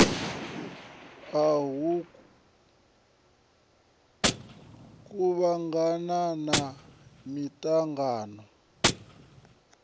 ha u kuvhangana ha miṱangano